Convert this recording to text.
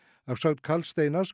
að sögn Karls Steinars